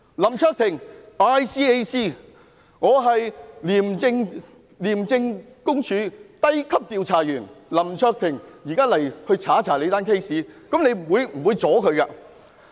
林卓廷議員大可以說，"我是廉政公署低級調查員，現在要調查你的案件"，這樣我們是不會阻攔他的。